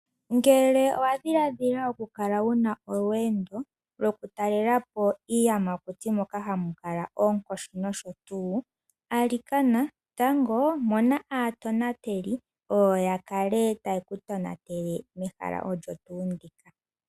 Ngele owa dhiladhila okukala wu na olweendo lwokutalela po iiyamakuti moka hamu kala oonkoshi nosho tuu , alikana tango mona aatonateli oyo ya kale taye ku tonatele mehala olyo tuu ndika.